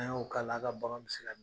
An y'o k'a la, a' ka baaraw be se ka